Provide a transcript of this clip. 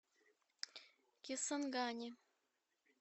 кисангани